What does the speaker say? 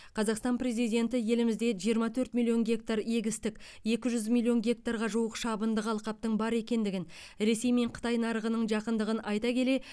қазақстан президенті елімізде жиырма төрт миллион гектар егістік екі жүз миллион гектарға жуық шабындық алқаптың бар екендігін ресей мен қытай нарығының жақындығын айта келе